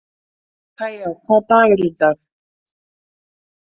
Kaja, hvaða dagur er í dag?